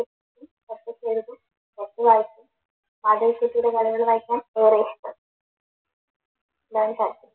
വായിക്കും യക്ഷിയുടെ കഥകൾ വായിക്കും